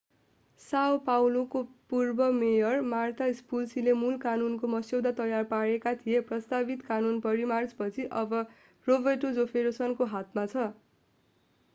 Sao Paulo são paulo का पूर्व mayor Marta Suplicy marta suplicyले मूल कानूनको मस्यौदा तयार पारेका थिए। प्रस्तावित कानून परिमार्जन पछि अब रोबर्टो जेफरसन roberto jefferson को हातमा छ।